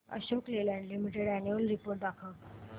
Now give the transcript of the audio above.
Ashok Leyland Limited annual report दाखव